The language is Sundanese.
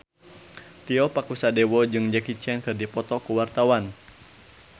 Tio Pakusadewo jeung Jackie Chan keur dipoto ku wartawan